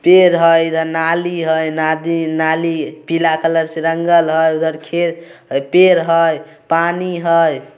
पेर हय इधर नाली हय नाडी नाली पिला कलर से रंगल हय उधर खेत पेर हय पानी हय ।